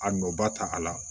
A nɔ ba ta a la